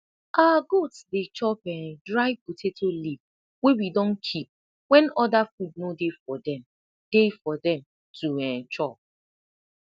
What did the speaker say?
our goats dey chop um dry potato leaf wey we don keep wen oda food no dey for dem dey for dem to um chop